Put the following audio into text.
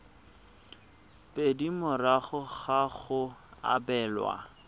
pedi morago ga go abelwa